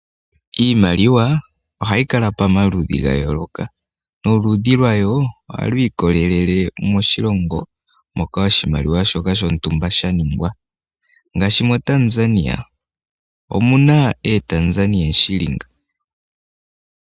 Iimaliwa ohayi kala pamaludhi gayooloka noludhi lwayoo ohalwiikolele moshilongo moka oshimaliwa shoka shontumba shaningwa. Ngaashi mo Tanzania omunaa ee Tanzania Shilinga.